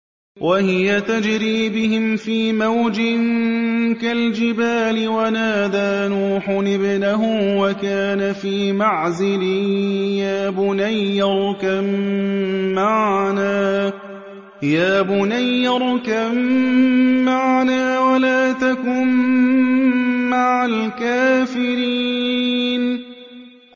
وَهِيَ تَجْرِي بِهِمْ فِي مَوْجٍ كَالْجِبَالِ وَنَادَىٰ نُوحٌ ابْنَهُ وَكَانَ فِي مَعْزِلٍ يَا بُنَيَّ ارْكَب مَّعَنَا وَلَا تَكُن مَّعَ الْكَافِرِينَ